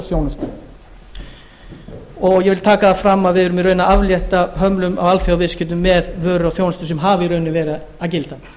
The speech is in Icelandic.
og þjónustu ég vil taka það fram að við erum í rauninni að aflétta hömlum á alþjóðaviðskiptum með vöru og þjónustu sem hafa í raun verið að gilda